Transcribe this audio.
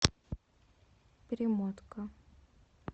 перемотка